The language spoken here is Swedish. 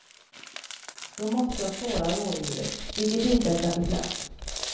Då måste jag spåra rådjuret, vilket inte är särskilt lätt.